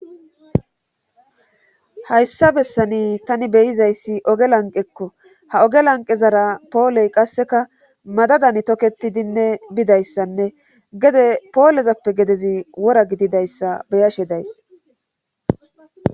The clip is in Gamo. Hayssa bessani tani beyizayssi oge lanqekko ha oge lanqezara pooley qasseka madadan tokketidinne bidayssanne gede poolezappe gedezi wora gididayssa beyashe days